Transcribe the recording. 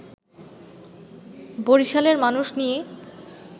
বরিশালের মানুষ নিয়ে